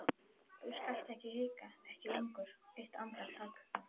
Þú skalt ekki hika, ekki lengur, eitt andartak.